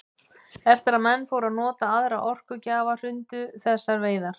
Eftir að menn fóru að nota aðra orkugjafa hrundu þessar veiðar.